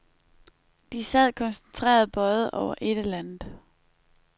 De sad koncentreret bøjet over et eller andet.